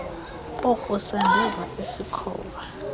kokusa ndeva isikhova